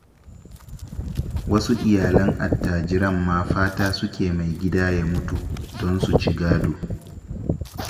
Wasu iyalan attajiran ma fata suke mai gida ya mutu, don su ci gado.